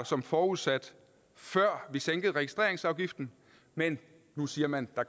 som forudsat før vi sænkede registreringsafgiften men nu siger man at